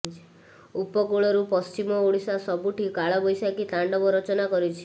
ଉପକୂଳରୁ ପଶ୍ଚିମ ଓଡ଼ିଶା ସବୁଠି କାଳବୈଶାଖୀ ତାଣ୍ଡବ ରଚନା କରିଛି